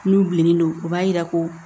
N'u bilennen don u b'a yira ko